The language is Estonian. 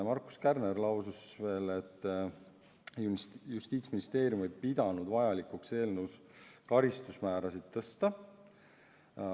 Markus Kärner lausus veel, et Justiitsministeerium ei pidanud vajalikuks eelnõus karistusmäärasid tõsta.